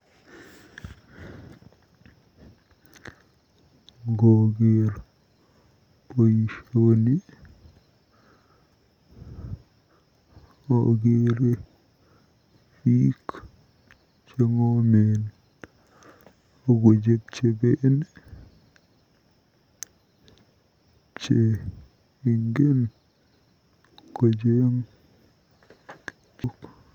Ngooker boisioni akeere biik cheng'omen akojebjeben che ingen kocheng.